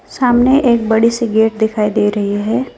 सामने एक बड़ी सी गेट दिखाई दे रही है।